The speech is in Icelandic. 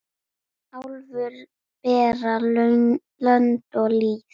Álfur bera lönd og lýð.